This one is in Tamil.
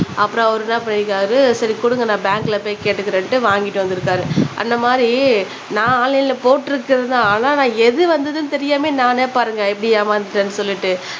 அப்புறம் அவரு என்ன பண்ணிருக்காரு சரி குடுங்க நான் பேங்க் ல போய் கேட்டுக்குறேன்ட்டு வாங்கிட்டு வந்துருக்காரு அந்த மாதிரி நான் ஆன்லைன்ல போட்டுருக்குறது தான் ஆனா நான் எது வந்தது தெரியாம நானே பாருங்க எப்பிடி ஏமாந்துட்டேனு சொல்லிட்டு